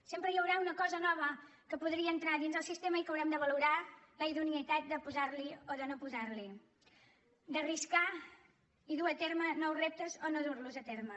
sempre hi haurà una cosa nova que podria entrar a dins del sistema i que haurem de valorar la idoneïtat de posar la hi o no posar la hi d’arriscar i dur a terme nous reptes o no dur los a terme